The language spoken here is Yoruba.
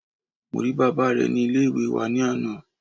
Mo rí bàbá re ni Ilé ìwé wa ní àná